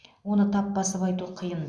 оны тап басып айту қиын